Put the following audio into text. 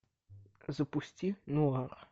запусти нуар